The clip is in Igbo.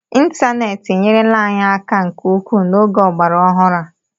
Ịntaneetị enyerela anyị aka nke ukwuu n'oge ọgbara ọhụrụ a